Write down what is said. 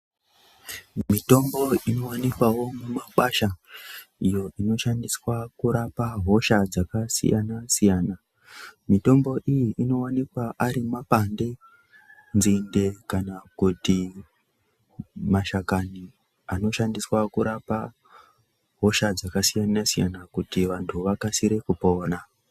Mitombo inowanikwawo mumakwasha iyo inoshandiswa kurapa hosha dzakasiyana-siyana. Mitombo iyi inowanikwawo ari mapande, nzinde kana kuti mashakani anoshandiswe kurapa hosha dzakasiyana-siyana kuti vantu vakasire kupona.